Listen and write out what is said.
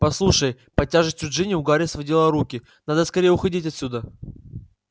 послушай под тяжестью джинни у гарри сводило руки надо скорее уходить отсюда